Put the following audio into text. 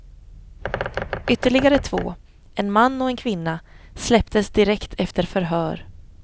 Ytterligare två, en man och en kvinna, släpptes direkt efter förhör.